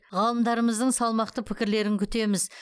ғалымдарымыздың салмақты пікірлерін күтеміз